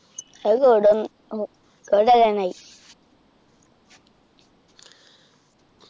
അത് അത് കളയാനായി